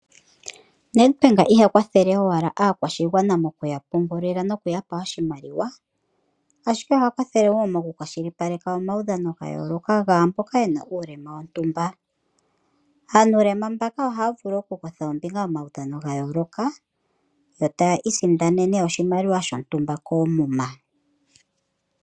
Nedbank iha kwathele owala aakwashigwana mo kuya pungulila no kuya pa oshimaliwa, ashike oha kwathele okukwashilipaleka omaudhano gayoloka gaamboka yena uulema wontumba. Aanulema mbaka ohaya vulu okukutha ombinga momaudhano gayoloka yoo ta isindanene oshimaliwa shontumba koomuma.